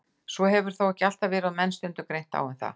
Svo hefur þó ekki alltaf verið og hefur menn stundum greint á um það.